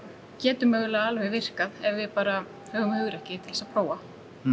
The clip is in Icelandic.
getur mögulega alveg virkað ef við bara höfum hugrekki til þess að prófa